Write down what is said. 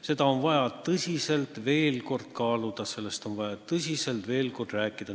Seda on vaja tõsiselt veel kord kaaluda, sellest on vaja tõsiselt veel kord rääkida.